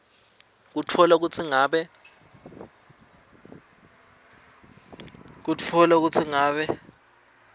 kutfola kutsi ngabe